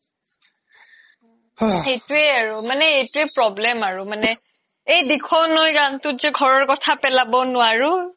সেইয়ে আৰু মানে এইটোয়ে problem আৰু মানে এই দিখোই নৈ গানতুত যে ঘৰৰ কথা পেলাব নোৱাৰু